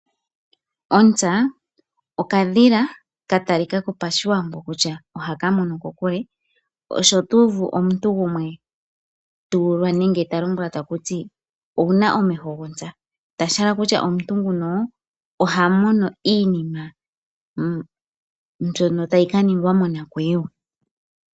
Ontsa okadhila katali kako PaShiwambo kutya ohaka mono kokule na otuuvu omuntu gumwe talombwelwa kutya okuna omeho gafa gontsa, shahala okutya omuntu nguno oha mono iinima mbyono tayi ka ningwa monakuyiwa.